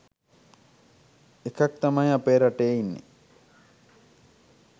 ඒකක් තමයි අපේ රටේ ඉන්නෙ.